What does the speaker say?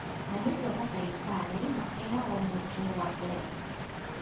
Na nĩkĩo mandagĩtarĩ maheagwo mweke wa mbere